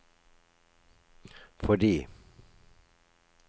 fordi